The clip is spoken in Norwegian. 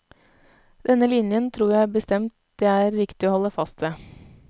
Denne linjen tror jeg bestemt det er riktig å holde fast ved.